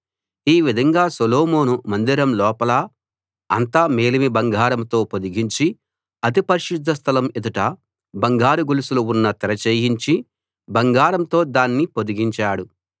ఈ విధంగా సొలొమోను మందిరం లోపల అంతా మేలిమి బంగారంతో పొదిగించి అతి పరిశుద్ధ స్థలం ఎదుట బంగారు గొలుసులు ఉన్న తెర చేయించి బంగారంతో దాన్ని పొదిగించాడు